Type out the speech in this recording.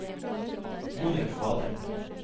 Monica Kvalheim